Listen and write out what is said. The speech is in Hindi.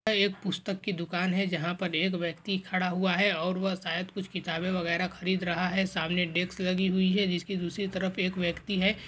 यह एक पुस्तक की दुकान है जहां पर एक व्यक्ति खड़ा हुआ है और वह शायद कुछ किताबे वगैरा खरीद रहा है सामने डेक्स लगी हुई है जिसकी दूसरी तरफ एक व्यक्ति है।